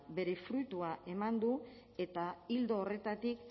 bere fruitua eman du eta ildo horretatik